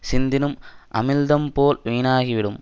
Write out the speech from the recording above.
சிந்திடும் அமிழ்தம்போல் வீணாகிவிடும்